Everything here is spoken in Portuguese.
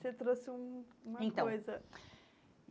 Você trouxe um uma coisa. Então